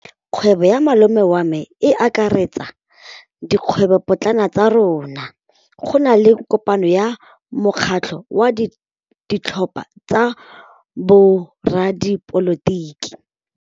Kgwêbô ya malome wa me e akaretsa dikgwêbôpotlana tsa rona. Go na le kopanô ya mokgatlhô wa ditlhopha tsa boradipolotiki.